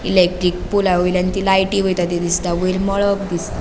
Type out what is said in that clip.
इलेक्ट्रिक पोलावयल्यान लायटी वयता ती दिसता वयर मळब दिस --